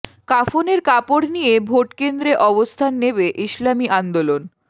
কাফনের কাপড় নিয়ে ভোট কেন্দ্রে অবস্থান নেবে ইসলামী আন্দোলন